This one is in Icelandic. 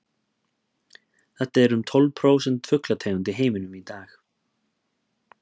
þetta eru um tólf prósent fuglategunda í heiminum í dag